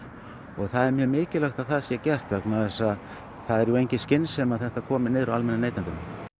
og það er mjög mikilvægt að það sé gert vegna þess að það er engin skynsemi að þetta komi niður á almennum neytendum